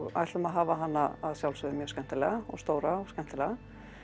ætlum að hafa hana að sjálfsögðu mjög skemmtilega og stóra og skemmtilega